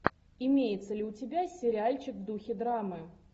имеется ли у тебя сериальчик в духе драмы